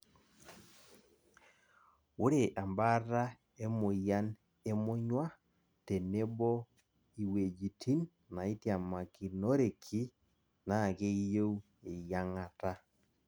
ore ebaata emoyian e monyua tenebo iwuejitin naitiamakinoreki naa keyieu eyiang'ata